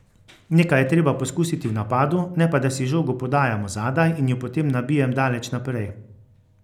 Nekaj je treba poskusiti v napadu, ne pa da si žogo podajamo zadaj in jo potem nabijem daleč naprej.